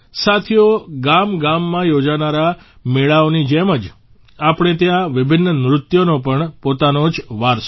સાથીઓ ગામગામમાં યોજાનારા મેળાઓની જેમ જ આપણે ત્યાં વિભિન્ન નૃત્યોનો પણ પોતાનો જ વારસો છે